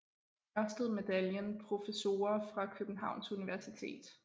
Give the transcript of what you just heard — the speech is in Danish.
Ørsted Medaljen Professorer fra Københavns Universitet